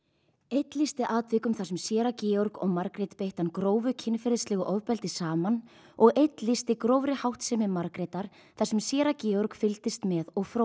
einn lýsti atvikum þar sem séra Georg og Margrét beittu hann grófu kynferðislegu ofbeldi saman og einn lýsti grófri háttsemi Margrétar þar sem séra Georg fylgdist með og